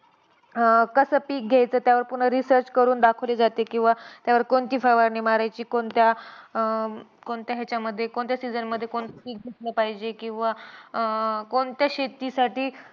अं कसं पिक घ्यायचं त्यावर पुन्हा research करून दाखवली जाते. किंवा त्यावर कोणती फवारणी मारायची, कोणत्या अं कोणत्या ह्याच्यामध्ये, कोणत्या season मध्ये कोणतं पिक घ्यायला पाहिजे, किंवा अं कोणत्या शेतीसाठी